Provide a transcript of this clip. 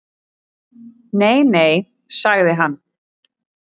Nei nei, sagði hann.